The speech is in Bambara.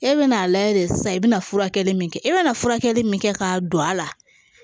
E bɛ n'a lajɛ de sisan i bɛna furakɛli min kɛ e bɛna furakɛli min kɛ k'a don a la